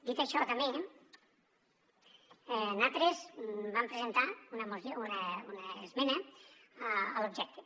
dit això també nosaltres vam presentar una esmena a l’objecte